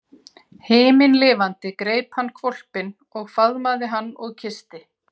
Himinlifandi greip hann hvolpinn og faðmaði hann og kyssti.